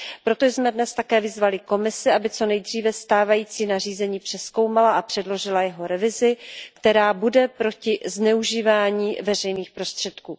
Proto jsme dnes také vyzvali Komisi, aby co nejdříve stávající nařízení přezkoumala a předložila jeho revizi, která bude proti zneužívání veřejných prostředků.